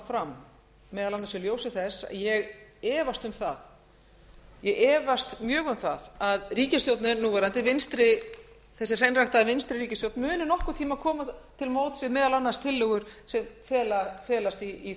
fram meðal annars í ljósi þess að ég efast mjög um það að ríkisstjórnin núverandi þessi hreinræktaða vinstri ríkisstjórn muni nokkurn tíma koma til móts við meðal annars tillögur sem felast í